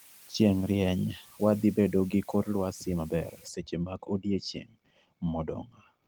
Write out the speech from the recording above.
Chieng' rieny wadhibedo gi kor lwasi maber seche mag odiechieng modong'